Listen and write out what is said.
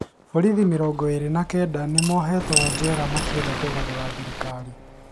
Borithi mĩrongo ĩrĩ na kenda nĩmohetwe jera makĩenda kũgarũra thirikari